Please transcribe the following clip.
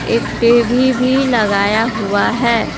एक टी_वी भी लगाया हुआ है।